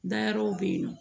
Dayɔrɔ be yen nɔ